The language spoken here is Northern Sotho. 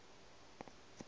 a go ba kgontpha go